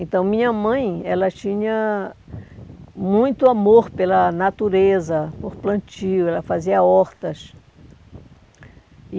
Então, minha mãe, ela tinha muito amor pela natureza, por plantio, ela fazia hortas. E